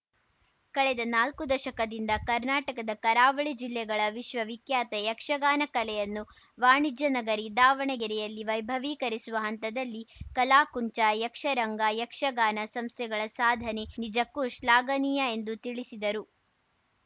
ಕಳೆದ ನಾಲ್ಕು ದಶಕದಿಂದ ಕರ್ನಾಟಕದ ಕರಾವಳಿ ಜಿಲ್ಲೆಗಳ ವಿಶ್ವವಿಖ್ಯಾತ ಯಕ್ಷಗಾನ ಕಲೆಯನ್ನು ವಾಣಿಜ್ಯ ನಗರಿ ದಾವಣಗೆರೆಯಲ್ಲಿ ವೈಭವೀಕರಿಸುವ ಹಂತದಲ್ಲಿ ಕಲಾಕುಂಚ ಯಕ್ಷರಂಗ ಯಕ್ಷಗಾನ ಸಂಸ್ಥೆಗಳ ಸಾಧನೆ ನಿಜಕ್ಕೂ ಶ್ಲಾಘನೀಯ ಎಂದು ತಿಳಿಸಿದರು